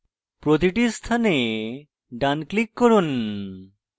প্রতিটি স্থানে ডান click করুন